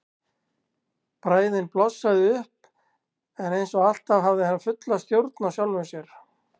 Bræðin blossaði upp en eins og alltaf hafði hann fulla stjórn á sjálfum sér.